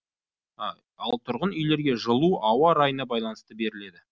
ал тұрғын үйлерге жылу ауа райына байланысты беріледі